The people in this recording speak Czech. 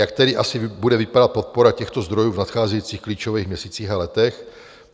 Jak tedy asi bude vypadat podpora těchto zdrojů v nadcházejících klíčových měsících a letech?